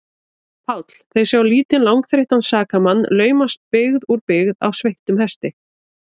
PÁLL: Þeir sjá lítinn, langþreyttan sakamann laumast byggð úr byggð á sveittum hesti.